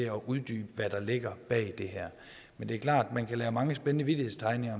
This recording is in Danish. at uddybe hvad der ligger bag det her det er klart at man kan lave mange spændende vittighedstegninger